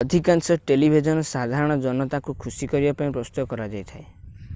ଅଧିକାଂଶ ଟେଲିଭିଜନ ସାଧାରଣ ଜନତାଙ୍କୁ ଖୁସି କରିବା ପାଇଁ ପ୍ରସ୍ତୁତ କରାଯାଇଥାଏ